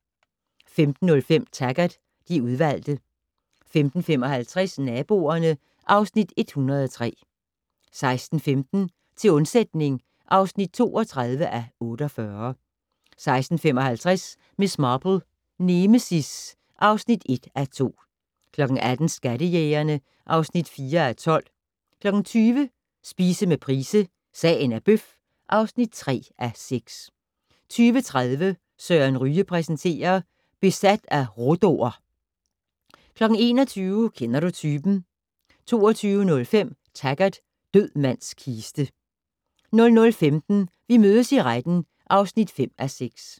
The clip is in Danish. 15:05: Taggart: De udvalgte 15:55: Naboerne (Afs. 103) 16:15: Til undsætning (32:48) 16:55: Miss Marple: Nemesis (1:2) 18:00: Skattejægerne (4:12) 20:00: Spise med Price - sagen er bøf (3:6) 20:30: Søren Ryge præsenterer - Besat af rhodo'er 21:00: Kender du typen? 22:05: Taggart: Død mands kiste 00:15: Vi mødes i retten (5:6)